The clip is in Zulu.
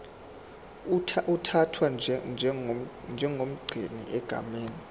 uthathwa njengomgcini egameni